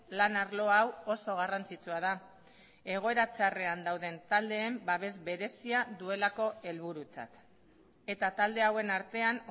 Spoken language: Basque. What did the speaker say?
lan arlo hau oso garrantzitsua da egoera txarrean dauden taldeen babes berezia duelako helburutzat eta talde hauen artean